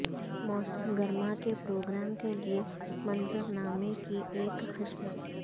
موسم گرما کے پروگرام کے لئے منظرنامے کی ایک قسم